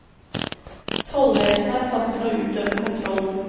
Tollvesenet er satt til å utøve kontrollen.